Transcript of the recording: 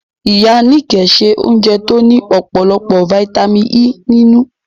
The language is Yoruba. Ìyá Níkẹ̀ se oúnjẹ tó ní ọ̀pọ̀lọpọ̀ fítámìnì E nínú